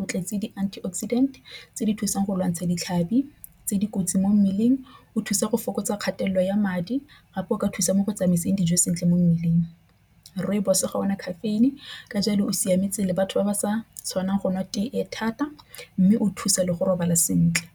o tletse di-antioxidant tse di thusang go lwantsha ditlhabi tse di kotsi mo mmeleng. O thusa go fokotsa kgatelelo ya madi gape go ka thusa mo go tsamaiseng dijo sentle mo mmeleng. Rooibos ga ena caffeine ka jalo o siametse le batho ba ba sa tshwanang go nwa tee e thata mme o thusa le go robala sentle.